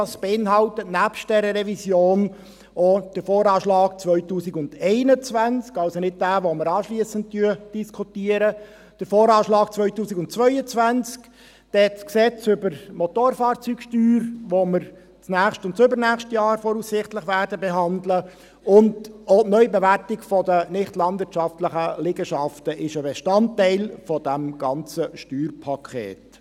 Dieses beinhaltet, nebst dieser Revision, auch den VA 2021 – also nicht denjenigen, den wir anschliessend diskutieren –, den VA 2022, dann das Gesetz über die Besteuerung der Strassenfahrzeuge (BSFG), das wir voraussichtlich im nächsten und übernächsten Jahr behandeln werden, und auch die Neubewertung der nichtlandwirtschaftlichen Liegenschaften ist ein Bestandteil dieses ganzen Steuerpakets.